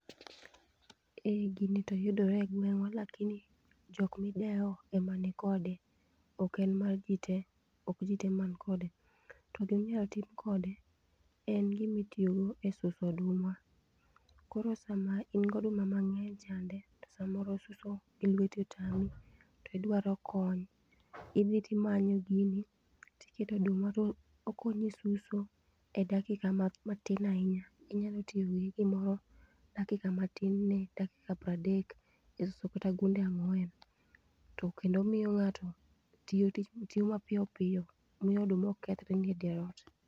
Ee gini toyudore e gweng'wa lakini jok midewo ema nikode. Ok en mar jii tee, ok jii tee man kode. To giminyal tim kode, en gimitiyogo e suso oduma. Koro sama in goduma mang'eny chande, to samoro suso gilueti otami, to idwaro kony. Idhi timanyo gini, tiketo oduma to okonyi suso, e dakika ma matin ahinya. Inyalo tiyo gi gimoro dakika matin ne dakika pradek, isesuso kata gunde ang'wen. To kendo omiyo ng'ato, tiyo tich tiyo mapiyo piyo, miyo oduma ok kethre e dier ot